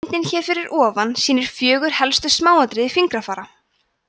myndin hér fyrir ofan sýnir fjögur helstu smáatriði fingrafara